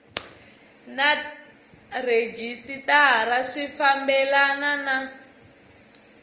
na rhejisitara swi fambelena na